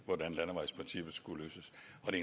og det